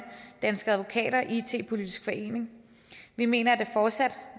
danske advokater og it politisk forening vi mener at det fortsat